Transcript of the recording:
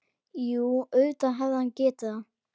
Jú, auðvitað hefði hann getað það.